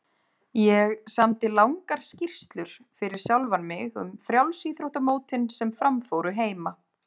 Ég samdi langar skýrslur fyrir sjálfan mig um frjálsíþróttamótin sem fram fóru heima.